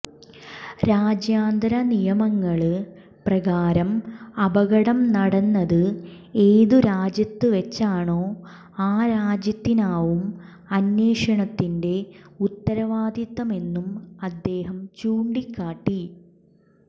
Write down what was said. രാജ്യാന്തര നിയമങ്ങള് പ്രകാരം അപകടം നടന്നത് ഏത് രാജ്യത്തുവച്ചാണോ ആ രാജ്യത്തിനാവും അന്വേഷണത്തിന്റെ ഉത്തരവാദിത്വമെന്നും അദ്ദേഹം ചൂണ്ടിക്കാട്ടി